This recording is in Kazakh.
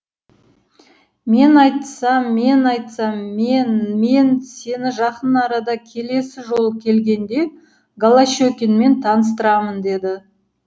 мен айтсам мен айтсам мен мен сені жақын арада келесі жолы келгенде голощекинмен таныстырамын деді